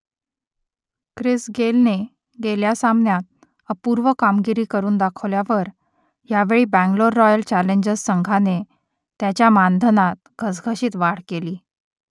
Chris गेलने गेल्या सामन्यात अपूर्व कामगिरी करून दाखवल्यावर यावेळी बंगलोर रॉयल चॅलेंजर्स संघाने त्याच्या मानधनात घसघशीत वाढ केली